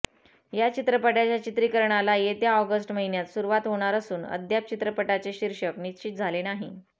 या चित्रपटाच्या चित्रीकरणाला येत्या ऑगस्ट महिन्यात सुरूवात होणार असून अद्याप चित्रपटाचे शीर्षक निश्चित झाले नाही